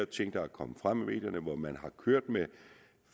ting der er kommet frem i medierne hvor man har kørt med